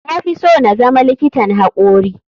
Na fi so na zama likitan hakori.